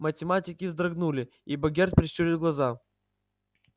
математики вздрогнули и богерт прищурил глаза